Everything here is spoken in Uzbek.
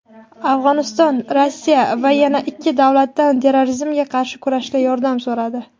Afg‘oniston Rossiya va yana ikki davlatdan terrorizmga qarshi kurashda yordam so‘radi.